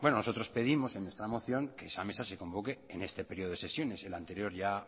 nosotros pedimos en nuestra moción que esa mesa se convoque en este periodo de sesiones el anterior ya